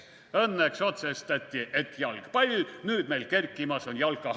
/ Õnneks otsustati, et jalgpall, / nüüd meil kerkimas on jalkahall.